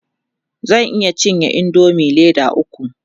zan iya cinye indomie Leda ukwu